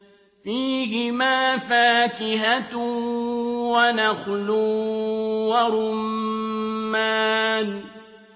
فِيهِمَا فَاكِهَةٌ وَنَخْلٌ وَرُمَّانٌ